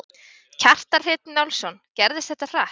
Kjartan Hreinn Njálsson: Gerðist þetta hratt?